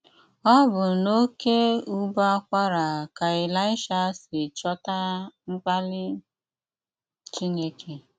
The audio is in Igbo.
Ọbụ́ n’oké́ ụbọ́ ákwará ká Eláịsha sí chọ́tà mkpálí Chínéké.